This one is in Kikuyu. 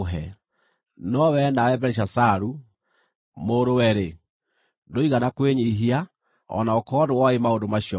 “No wee nawe Belishazaru, mũrũ-we-rĩ, ndũigana kwĩnyiihia, o na gũkorwo nĩwooĩ maũndũ macio mothe.